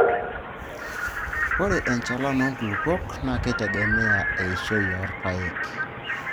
Ore enchalan oo nkulupuok naa keitegemea eishoi oo irpaek.